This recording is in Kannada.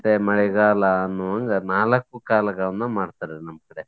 ಮತ್ತೆ ಮಳೆಗಾಲ ಅನ್ನುವಂಗ ನಾಲಕ್ಕು ಕಾಲಗಳನ್ನ ಮಾಡ್ತಾರೆ ನಮ್ಮ್ ಕಡೆ.